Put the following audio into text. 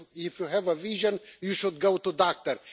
If you have a vision, you should go to the doctor.